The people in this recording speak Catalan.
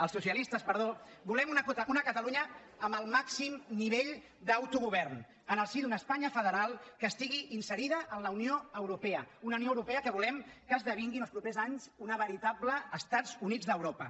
els socialistes perdó volem una catalunya amb el màxim nivell d’autogovern en el si d’una espanya federal que estigui inserida en la unió europea una unió europea que volem que esdevingui en els propers anys una veritable estats units d’europa